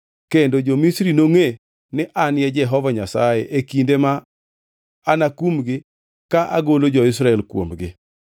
Kendo jo-Misri nongʼe ni an Jehova Nyasaye e kinde ma anakumgi ka agolo jo-Israel kuomgi.”